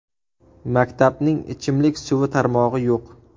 Maktabning ichimlik suvi tarmog‘i yo‘q.